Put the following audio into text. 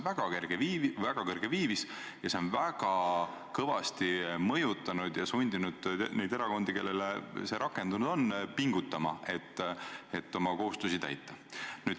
See on väga kõrge viivis ja see on väga kõvasti mõjunud, sundides neid erakondi, kelle puhul see rakendunud on, pingutama, et oma kohustusi täita.